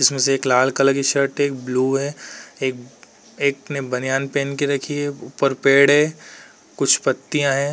इसमें से एक लाल कलर की शर्ट है। एक ब्लू है। एक एक ने बनियान पहन के रखी है। ऊपर पेड़ है। कुछ पत्तियाँ हैं।